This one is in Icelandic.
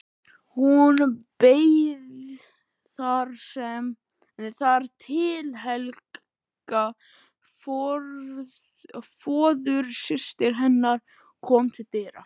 Hún beið þar til Helga, föðursystir hennar, kom til dyra.